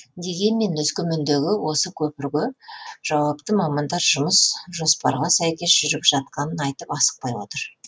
дегенмен өскемендегі осы көпірге жауапты мамандар жұмыс жопарға сәйкес жүріп жатқанын айтып асықпай отыр